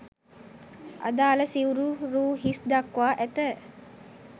අදාළ සිවුපා රූ හිස් දක්වා ඇත